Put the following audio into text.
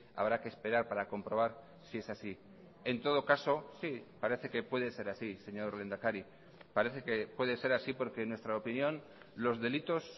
habrá que esperar para comprobar si es así en todo caso sí parece que puede ser así señor lehendakari parece que puede ser así porque en nuestra opinión los delitos